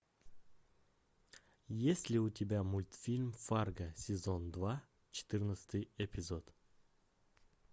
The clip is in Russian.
есть ли у тебя мультфильм фарго сезон два четырнадцатый эпизод